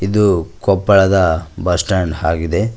ಇದು ಕೊಪ್ಪಳದ bus stand ಆಗಿದೆ.